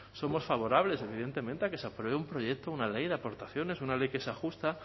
somos favorables evidentemente a que se apruebe un proyecto una ley de aportaciones una ley que sea justa